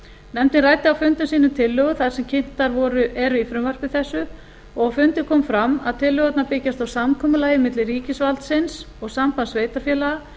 nefndin ræddi á fundum sínum tillögur þær sem kynntar eru í frumvarpi þessu og á fundi kom fram að tillögurnar byggjast á samkomulagi milli ríkisvaldsins og sambands sveitarfélaga